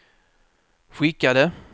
skickade